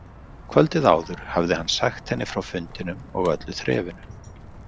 Kvöldið áður hafði hann sagt henni frá fundinum og öllu þrefinu.